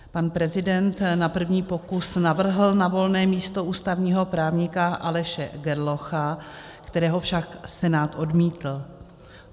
Pan prezident na první pokus navrhl na volné místo ústavního právníka Aleše Gerlocha, kterého však Senát odmítl.